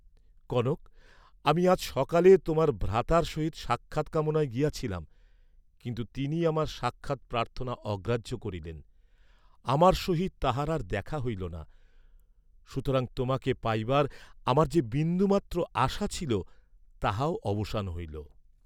কনক, আমি আজ সকালে তোমার ভ্রাতার সহিত সাক্ষাৎ কামনায় গিয়াছিলাম, কিন্তু তিনি আমার সাক্ষাৎ প্রার্থনা অগ্রাহ্য করিলেন, আমার সহিত তাঁহার আর দেখা হইল না, সুতরাং তোমাকে পাইবার আমার যে বিন্দুমাত্র আশা ছিল, তাহাও অবসান হইল।